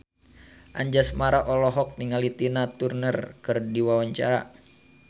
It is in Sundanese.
Anjasmara olohok ningali Tina Turner keur diwawancara